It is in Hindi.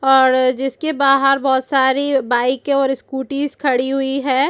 और जिसके बाहर बहुत सारी बाइक और स्कूटीज खड़ी हुई है।